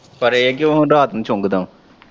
ਪਰ ਇਹ ਹੈ ਕਿ ਉਹ ਹੁਣ ਰਾਤ ਨੂੰ ਚੰਗਦਾ ਵਾ।